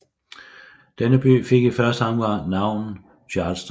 Denne by fik i første omgang navnet Charleston